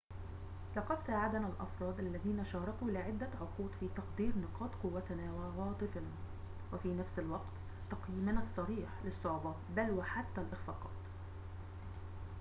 لقد ساعدنا الأفراد الذين شاركوا لعدة عقود في تقدير نقاط قوتنا وعواطفنا وفي نفس الوقت تقييمنا الصريح للصعوبات بل وحتى الإخفاقات